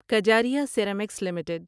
Kajaria ceramics limited